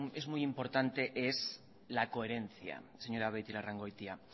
es muy importante es la coherencia señora beitialarrangoitia